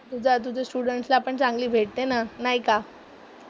तुझ्या तुझ्या स्टुडंट्स ला पण चांगली भेट दे ना, नाही का?